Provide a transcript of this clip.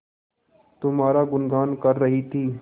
तुम्हारा गुनगान कर रही थी